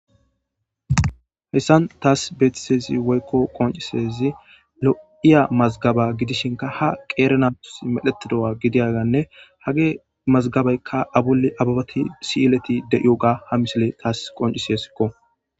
heyssan taas beetisezi woykko qoncisezi lo'iya mazgaba gidishinka ha qeerenatus medhetidowa gidiyaganne hage mazgabeykka abuli ababati si'eleti deioga ha misile taas qoncisesikko